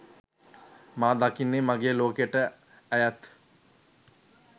මා දකින්නේ මගේ ලෝකයට ඇයත්